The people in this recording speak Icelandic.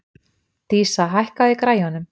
Dísa, hækkaðu í græjunum.